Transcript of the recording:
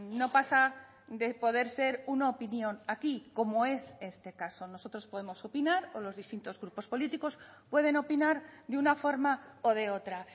no pasa de poder ser una opinión aquí como es este caso nosotros podemos opinar o los distintos grupos políticos pueden opinar de una forma o de otra